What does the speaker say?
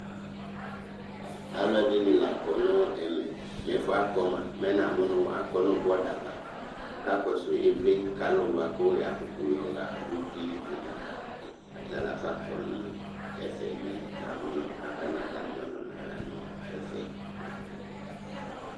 Alʋ ɛdini lakɔ nʋ ɛmɛ nʋ ɛfʋ yɛ akɔ mʋa mɛ namʋ nʋ akɔ nʋ bɔda ava kʋ akakɔsʋ ivli bʋakʋ yɔxa uti bene ava kʋ alʋ atalafa kɔnʋ ɛfɛ mɛ namʋ nʋ akana atami ɔlʋna la nʋ ɛfɛ